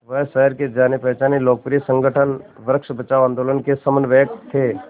वह शहर के जानेपहचाने लोकप्रिय संगठन वृक्ष बचाओ आंदोलन के समन्वयक थे